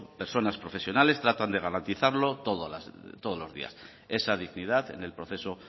personas profesionales tratan de garantizarlo todos los días esa dignidad en el proceso